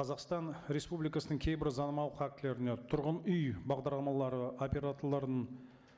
қазақстан республикасының кейбір заңнамалық актілеріне тұрғын үй бағдарламалары операторларының